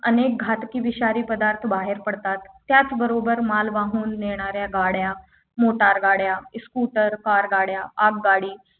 अनेक घातकी विषारी पदार्थ बाहेर पडतात त्याचबरोबर माल वाहून नेणाऱ्या गाड्या मोटार गाड्या स्कूटर कार गाड्या आगगाडी